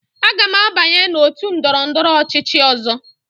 Aga m abanye n'otu ndọrọndọrọ ọchịchị ọzọ.